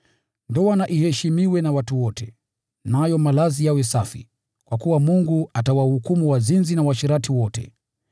Ndoa na iheshimiwe na watu wote, nayo malazi yawe safi, kwa kuwa Mungu atawahukumu wazinzi na waasherati wote.